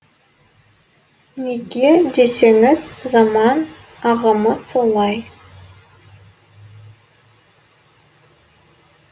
неге десеңіз заман ағымы солай